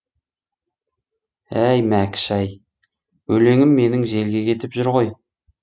әй мәкіш ай өлеңім менің желге кетіп жүр ғой